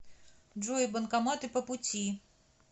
джой банкоматы по пути